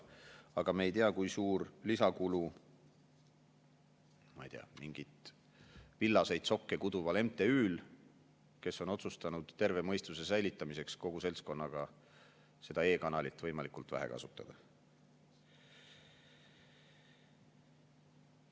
Aga me ei tea, kui suur on lisakulu, ma ei tea, mingil villaseid sokke kutsuval MTÜ-l, kes on otsustanud terve mõistuse säilitamiseks kogu seltskonnaga seda e-kanalit võimalikult vähe kasutada.